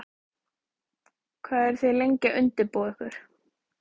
Hvað eru þið lengi að undirbúa ykkur?